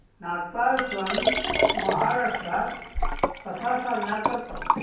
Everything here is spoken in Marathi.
नाताळ सण महाराष्ट्रात कसा साजरा करतात